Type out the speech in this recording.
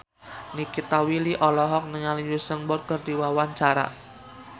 Nikita Willy olohok ningali Usain Bolt keur diwawancara